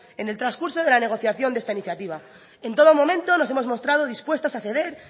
en el transcurso de la negociación de esta iniciativa en todo momento nos hemos mostrado dispuestas a ceder